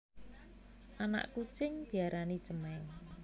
Anak kucing diarani cemèng